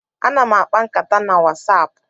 Ana m akpa nkata na Wasapu.